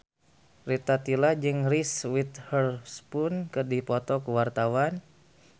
Rita Tila jeung Reese Witherspoon keur dipoto ku wartawan